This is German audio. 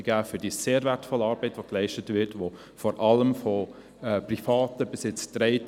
Die Finanzierung dieser Stelle wird bisher vor allem durch Private getragen.